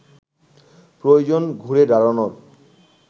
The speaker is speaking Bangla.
প্রয়োজন ঘুরে দাঁড়ানোর